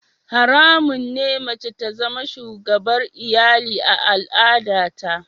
Haramun ne mace ta zama shugabar iyali a al'adata.